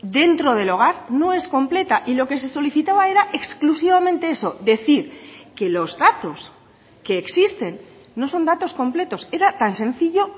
dentro del hogar no es completa y lo que se solicitaba era exclusivamente eso decir que los datos que existen no son datos completos era tan sencillo